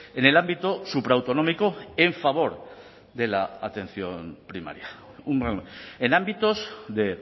en el ámbito supraautonómico en favor de la atención primaria en ámbitos de